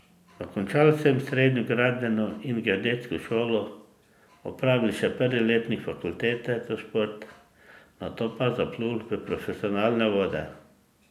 Dokončal sem srednjo gradbeno in geodetsko šolo, opravil še prvi letnik fakultete za šport, nato pa zaplul v profesionalne vode.